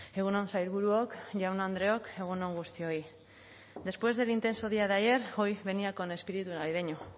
egun on sailburuok jaun andreok egun on guztioi después del intenso día de ayer hoy venía con el espíritu navideño